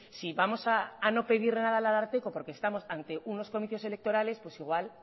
si vamos a no pedir nada al ararteko porque estamos ante unos comicios electorales pues igual